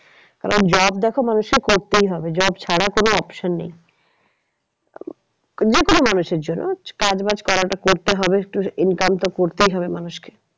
তবে job দেখো মানুষকে করতেই হবে job ছাড়া কোনো option নেই। যে কোনো মানুষসের জন্য কাজ বাজ করাটা করতে হবে income তো করতেই হবে মানুষকে